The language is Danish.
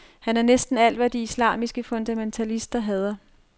Han er næsten alt, hvad de islamiske fundamentalister hader.